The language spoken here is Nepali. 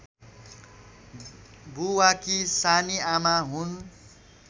बुवाकी सानीआमा हुन्